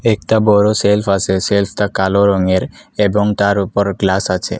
একতা বড়ো সেল্ফ আসে সেল্ফ - তা কালো রঙের এবং তার উপর গ্লাস আছে।